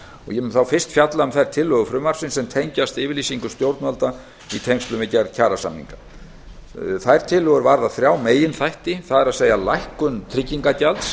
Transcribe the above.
ég mun þá fyrst fjalla um þær tillögur frumvarpsins sem tengjast yfirlýsingu stjórnvalda í tengslum við gerð kjarasamninga þær tillögur varða þrjá meginþætti það er lækkun tryggingagjalds